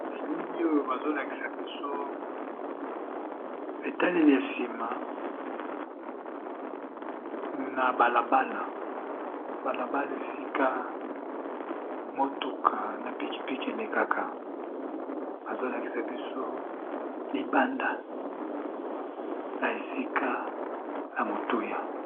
Elili oyo bazo lakisa biso etalell ya nsima na bala bala, bala bala esika motuka na piki piki elekaka bazo lakisa biso libanda ya esika ya motuya.